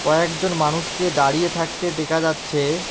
কয়েকজন মানুষকে দাঁড়িয়ে থাকতে দেখা যাচ্ছে।